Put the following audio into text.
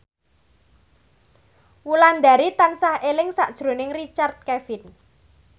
Wulandari tansah eling sakjroning Richard Kevin